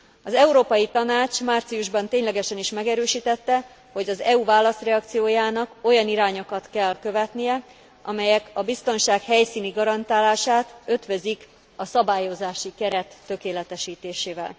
Az Európai Tanács márciusban ténylegesen is megerősítette, hogy az EU válaszreakciójának olyan irányokat kell követnie, amelyek a biztonság helyszíni garantálását ötvözik a szabályozási keret tökéletesítésével.